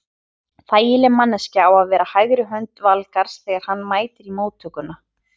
Þægileg manneskja á að vera hægri hönd Valgarðs þegar hann mætir í móttökuna.